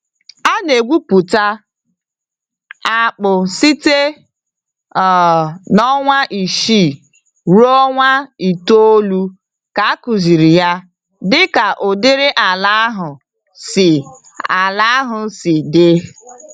A na egwupụta akpụ site um n'ọnwa isii ruo ọnwa itoolu ka akụsịrị ya, dịka ụdịrị ala ahụ si ala ahụ si dị.